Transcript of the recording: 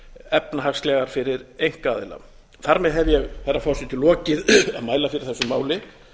efnahagslegar fyrir einkaaðila þar með hef ég herra forseti lokið að mæla fyrir þessu máli